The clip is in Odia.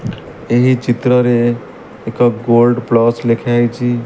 ଏହି ଚିତ୍ରରେ ଏକ ଗୋଲ୍ଡ ପ୍ଲସ ଲେଖାହେଇଛି।